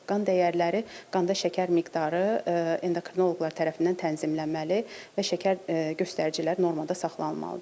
Qan dəyərləri, qanda şəkər miqdarı, endokrinoloqlar tərəfindən tənzimlənməli və şəkər göstəricilər normada saxlanılmalıdır.